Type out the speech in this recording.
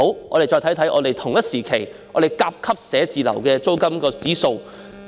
我們且看看甲級寫字樓的同期租金指數。